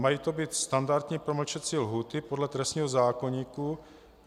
Mají to být standardní promlčecí lhůty podle trestního zákoníku.